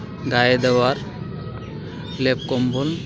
গায়ে দেওয়ার লেপ-কম্বল .